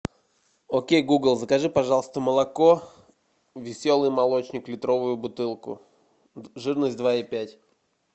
окей гугл закажи пожалуйста молоко веселый молочник литровую бутылку жирность два и пять